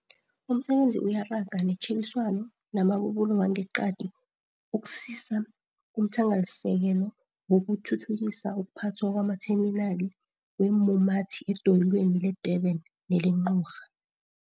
Umsebenzi uyaraga netjhebiswano namabubulo wangeqadi ukusisa kumthangalasisekelo wokuthuthukisa ukuphathwa kwamatheminali weemumathi edoyelweni le-Durban neleNgqura.